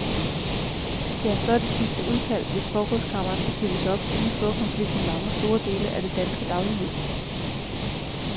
Ja, så er det sidste udkald, hvis forrådskammeret skal fyldes op, inden storkonflikten lammer store dele af det danske dagligliv.